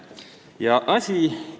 Ja asi ise on lühike.